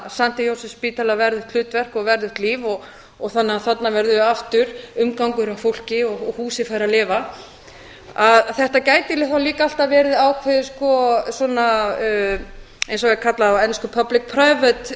st jósefsspítala verðugt hlutverk og verðugt líf þannig að þarna verði aftur umgangur af fólki og húsið fái að lifa að þetta gæti þá líka alltaf verið ákveðin svona eins og það er kallað á ensku public private